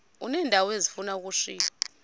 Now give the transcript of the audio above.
uneendawo ezifuna ukushiywa